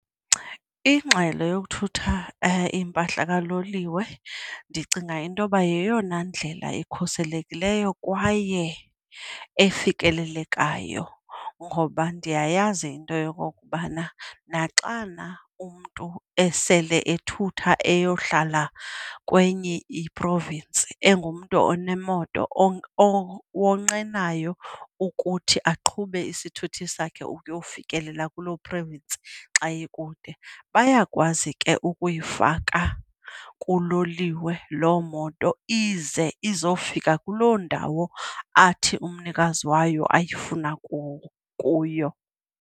Ingxelo yokuthutha impahla kaloliwe ndicinga into yoba yeyona ndlela ikhuselekileyo kwaye efikelelekayo. Ngoba ndiyayazi into yokokubana naxana umntu esele ethutha eyohlala kwenye i-province, engumntu onemoto owonqenayo ukuthi aqhube isithuthi sakhe uyofikelela kuloo province xa ikude, bayakwazi ke ukuyifaka kuloliwe loo moto ize izofika kuloo ndawo athi umnikazi wayo ayifuna kuyo.